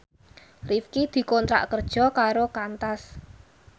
Rifqi dikontrak kerja karo Qantas